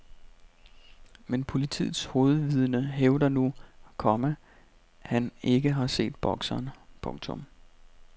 Men politiets hovedvidne hævder nu, komma han ikke har set bokseren. punktum